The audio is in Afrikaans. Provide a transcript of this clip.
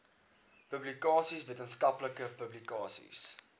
publikasies wetenskaplike publikasies